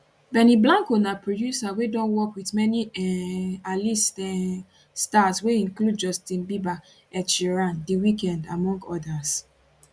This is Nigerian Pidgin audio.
benny blanco na producer wey don work wit many um alist um stars wey include justin bieber ed sheeran the weeknd among odas